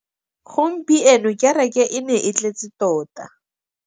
Gompieno kêrêkê e ne e tletse tota.